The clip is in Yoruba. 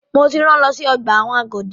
Mo ti rán lọ sí ọgbà ẹ̀wọ̀n Agodi!